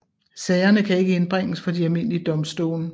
Sagerne kan ikke indbringes for de almindelige domstole